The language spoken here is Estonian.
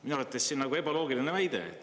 Minu arvates see on nagu ebaloogiline väide.